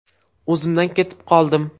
O‘zimdan ketib qoldim.